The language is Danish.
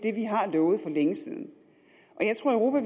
har lovet for længe siden og jeg tror